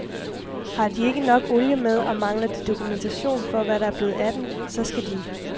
Har de ikke nok olie med, og mangler de dokumentation for, hvad der er blevet af den, så skal de